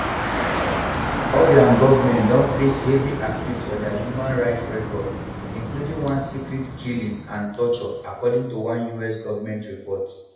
obiang goment don face heavy accuse for dia human rights record including secret killings and torture according toone us goment report